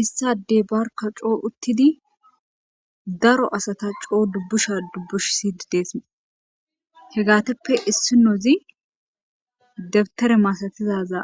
Issi adey barka coo uttidi daro asata dubusha dubishsishe des hegatuppe issinazi dabutera masatizaga